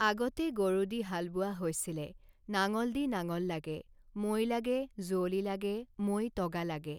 আগতে গৰু দি হাল বোৱা হৈছিলে নাঙল দি নাঙল লাগে, মৈ লাগে, যুঁৱলি লাগে, মৈ টগা লাগে